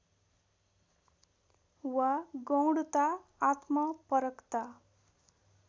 वा गौणता आत्मपरकता